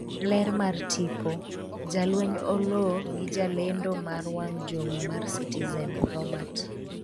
ler mar tipo, jalweny Oloo gi jalendo mar wang' jowi mar Citizen Robert